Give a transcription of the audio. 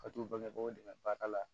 Ka t'u bangebagaw dɛmɛ baara la